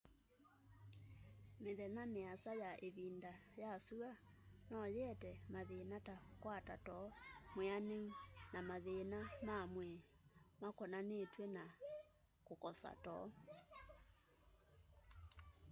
mĩthenya mĩasa ya ĩvinda ya sua noyĩete mathĩna ta kũkwata too mwĩanũ na mathĩna mamwĩĩ makũnanĩtwe na kũkosa too